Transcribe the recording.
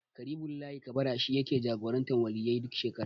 Ƙaribullahi Kabara shi yake jagorantar Waliyyai duk shekara.